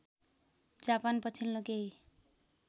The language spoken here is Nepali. जापान पछिल्लो केही